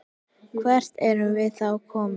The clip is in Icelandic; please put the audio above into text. Hvert erum við þá komin?